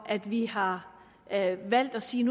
at vi har valgt at sige